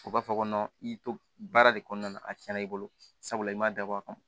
O b'a fɔ ko i y'i to baara de kɔnɔna na a tiɲɛna i bolo sabula i man dabɔ a kama